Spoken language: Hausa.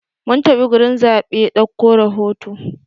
Mun tafi gurin zaɓe dauko rahoto.